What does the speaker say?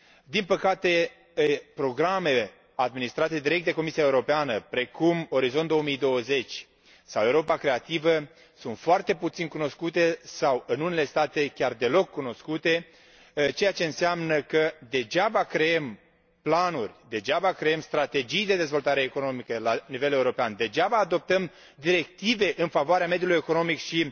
Din păcate, programele administrate direct de Comisia Europeană, precum Orizont 2020 sau Europa creativă, sunt foarte puțin cunoscute sau, în unele state, chiar deloc cunoscute, ceea ce înseamnă că degeaba creăm planuri, degeaba creăm strategii de dezvoltare economică la nivel european, degeaba adoptăm directive în favoarea mediului economic și